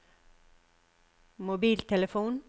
mobiltelefon